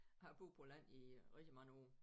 Jeg har boet på landet i rigtig mange år